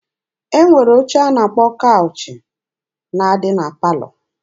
E nwere oche a na-akpọ kawụch na-adị na palọ.